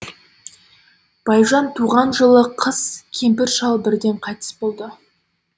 байжан туған жылы қыс кемпір шал бірден қайтыс болды